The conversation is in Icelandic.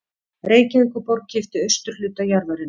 Reykjavíkurborg keypti austurhluta jarðarinnar